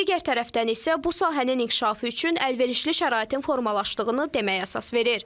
Digər tərəfdən isə bu sahənin inkişafı üçün əlverişli şəraitin formalaşdığını deməyə əsas verir.